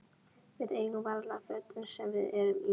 Við eigum varla fötin sem við erum í.